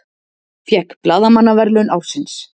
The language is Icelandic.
Fékk blaðamannaverðlaun ársins